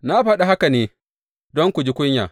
Na faɗi haka ne don ku ji kunya.